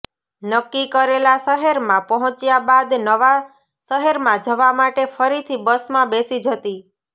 નક્કી કરેલા શહેરમાં પહોંચ્યા બાદ નવા શહેરમાં જવા માટે ફરીથી બસમાં બેસી જતી